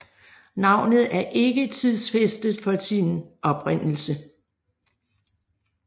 Navnet er ikke tidsfæstet for sin oprindelse